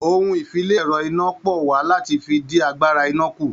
Ohun-ìfi-le-ẹ̀rọ-iná-pọ̀ wà láti fi dí agbára iná kù.